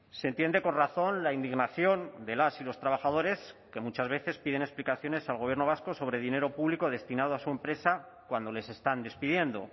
se entiende con razón la indignación de las y los trabajadores que muchas veces piden explicaciones al gobierno vasco sobre dinero público destinado a su empresa cuando les están despidiendo